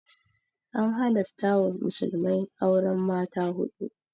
An halasta wa musulmai auren mata huɗu.